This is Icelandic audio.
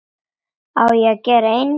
Á ég að gera engil?